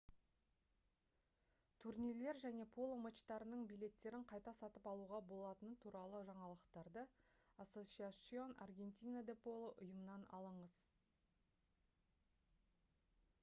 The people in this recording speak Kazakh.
турнирлер және поло матчтарының билеттерін қайта сатып алуға болатыны туралы жаңалықтарды asociacion argentina de polo ұйымынан алыңыз